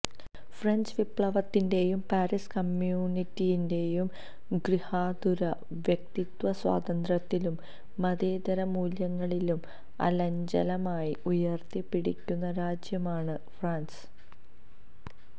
French വിപ്ലവത്തിന്റേയും Paris കമ്യൂണിന്റെയും ഗൃഹാതുരത വ്യക്തിസ്വാതന്ത്രത്തിലും മതേതരമുല്യങ്ങളിലും അചഞ്ചലമായി ഉയര്ത്തിപിടിക്കുന്ന രാജ്യമാണ് ഫ്രാന്സ്